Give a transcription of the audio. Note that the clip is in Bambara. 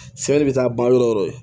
Sɛbɛn bɛ taa ban yɔrɔ o yɔrɔ